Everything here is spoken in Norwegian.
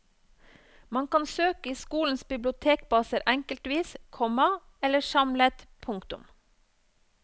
Man kan søke i skolenes bibliotekbaser enkeltvis, komma eller samlet. punktum